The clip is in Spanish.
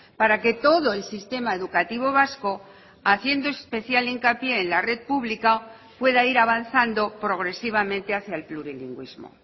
para que todo el sistema educativo vasco haciendo especial hincapié en la red pública pueda ir avanzando progresivamente hacia el plurilingüismo